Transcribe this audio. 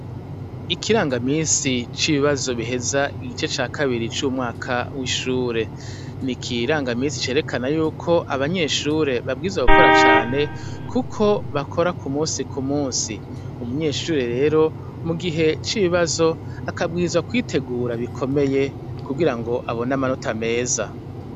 Ikirangamisi c'ibibazo biheza igice ca kabiri c'umwaka w'ishure ni ikiranga misi cerekana yuko abanyeshure babwiza gukora cane, kuko bakora ku musi ku musi umunyeshure rero mu gihe c'ibibazo akabwiza kwitegura bikomeye kugira ngo abona manuta meza.